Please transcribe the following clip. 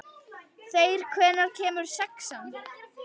Þeyr, hvenær kemur sexan?